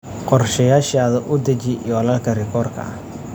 Qorshayaashaada u deji yoolalka rikoorka ah.